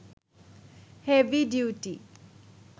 heavy duty